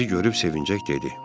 O bizi görüb sevinəcək dedi.